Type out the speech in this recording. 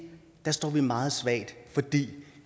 står vi meget svagt fordi